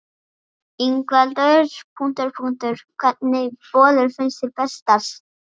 Ingveldur: Hvernig bollur finnst þér bestar?